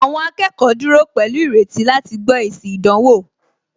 Àwọn akẹ́kọ̀ọ́ dúró pẹ̀lú ìrètí láti gbó èsì ìdánwò